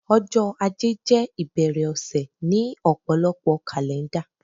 ọjọ ajé jé ìbẹ̀rẹ̀ ọ̀sẹ̀ ni òpòlopo kàlẹ́ndà